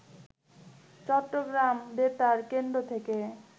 চট্টগ্রাম বেতার কেন্দ্র থেকে